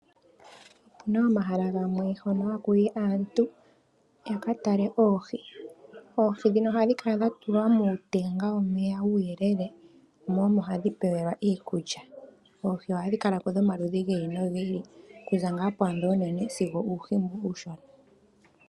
Opuna omahala gamwe hono haku yi aaantu ya ka tale oohi ,oohi dhino ohadhi kala dha tulwa muutenga womeya uuyelele mo omo hadhi pewelwa iikulya ,oohi ohadhi kala ko dhomaludhi gi ili nogi ili kuza ngaa kwaadho oonene sigo okuuhi mboka uushona.